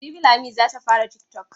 Jibi Lami za ta fara tiktok.